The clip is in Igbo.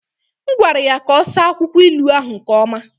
M gwara ya ka ọ saa akwụkwọ ilu ahụ nke ọma.